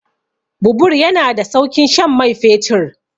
Bubur yana da saukin shan mai fetur.